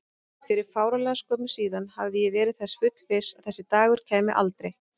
Fyrir fáránlega skömmu síðan hafði ég verið þess fullviss að þessi dagur kæmi aldrei.